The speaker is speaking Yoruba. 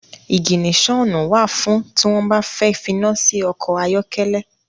Iginiṣonu wá fún ti wọn bà fẹ finasi ọkọ ayọkẹlẹ